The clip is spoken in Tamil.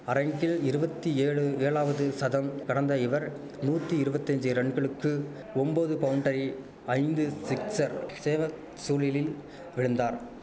அரங்கில் இருவத்தியேழு யேழாவது சதம் கடந்த இவர் நூத்தி இருவத்தஞ்சி ரன்களுக்கு ஒம்போது பவுண்ட்டரி ஐந்து சிக்சர் சேவக் சூழிலில் விழுந்தார்